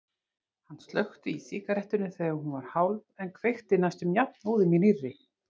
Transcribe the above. Hann slökkti í sígarettunni þegar hún var hálf en kveikti næstum jafnóðum í nýrri.